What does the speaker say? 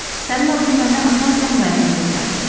Sənin adını mənə atam Əmrayın deyə bilərdi.